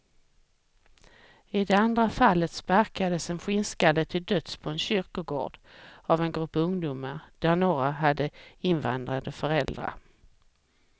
I det andra fallet sparkades en skinnskalle till döds på en kyrkogård, av en grupp ungdomar där några hade invandrade föräldrar.